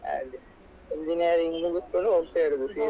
ಅದೆ Engineering ಮುಗಿಸ್ಕೊಂಡು ಹೋಗ್ತಾ ಇರುದು ಸೀದಾ.